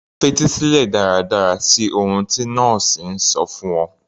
Fetí sílẹ̀ dáradára sí ohun tí nọ́ọ̀sì ń sọ fún ọ